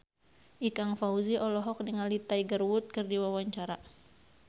Ikang Fawzi olohok ningali Tiger Wood keur diwawancara